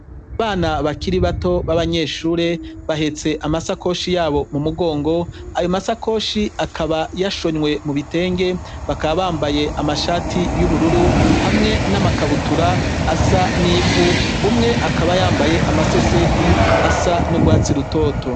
Bana bakiri bato b'abanyeshure, bahetse amasakoshi yabo mu mugongo ayo masakoshi akaba yashonywe mu bitenge, bakabambaye amashati y'ubururu hamwe n'amakabutura asa n'ivu, umwe akabayambaye amase seti asa n'urwatsi rutoto.